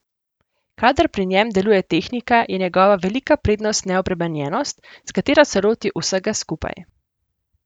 Kadar pri njem deluje tehnika, je njegova velika prednost neobremenjenost, s katero se loti vsega skupaj.